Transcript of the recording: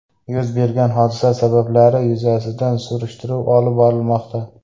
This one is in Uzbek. Yuz bergan hodisa sabablari yuzasidan surishtiruv olib borilmoqda.